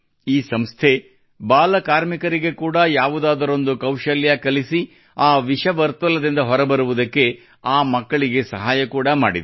ಈ ಸಂಸ್ಥೆಯು ಬಾಲಕಾರ್ಮಿಕರಿಗೆ ಕೂಡಾ ಯಾವುದಾದರೊಂದು ಕೌಶಲ್ಯ ಕಲಿಸಿ ಆ ವಿಷವರ್ತುಲದಿಂದ ಹೊರಬರುವುದಕ್ಕೆ ಆ ಮಕ್ಕಳಿಗೆ ಸಹಾಯ ಕೂಡಾ ಮಾಡಿದೆ